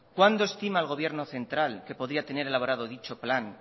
cuándo estima el gobierno central que podría tener elaborado dicho plan